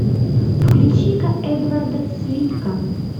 включи ка эдварда цвика